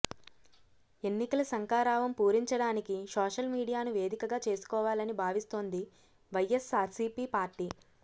ఎన్నికల శంఖారావం పూరించడానికి సోషల్ మీడియాను వేదికగా చేసుకోవాలని భావిస్తోంది వైఎస్సార్సీపీ పార్టీ